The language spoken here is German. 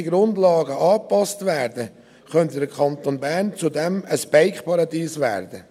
Wenn die rechtlichen Grundlagen angepasst werden, könnte der Kanton Bern zudem ein Bike-Paradies werden.